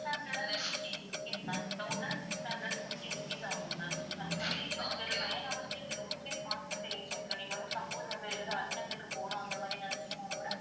thousand six hundred and fifty rupees ma'am thousand six hundred and fifty rupees ஆகும் ma'am வந்து இது வந்து வெறும் nine hours க்கு ரொம்பவே fast ஆ நீங்க வந்து suppose வந்து ஏதாவது urgent க்கு போகணும் அந்த மாதிரி நினைச்சீங்கன்னா கூட